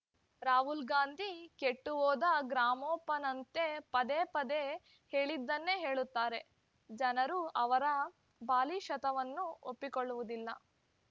ರಾಹುಲ್‌ ಗಾಂಧಿ ಕೆಟ್ಟು ಹೋದ ಗ್ರಾಮೋಫೋನಂತೆ ಪದೇ ಪದೇ ಹೇಳಿದ್ದನ್ನೇ ಹೇಳುತ್ತಾರೆ ಜನರು ಅವರ ಬಾಲಿಶತನವನ್ನು ಒಪ್ಪಿಕೊಳ್ಳುವುದಿಲ್ಲ